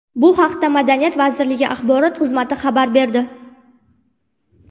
Bu haqda madaniyat vazirligi axborot xizmati xabar berdi .